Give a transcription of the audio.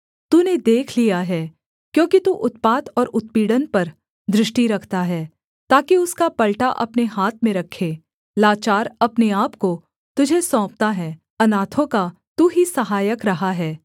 तूने देख लिया है क्योंकि तू उत्पात और उत्पीड़न पर दृष्टि रखता है ताकि उसका पलटा अपने हाथ में रखे लाचार अपने आपको तुझे सौंपता है अनाथों का तू ही सहायक रहा है